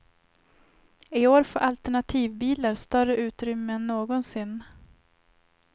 I år får alternativbilar större utrymme än någonsin.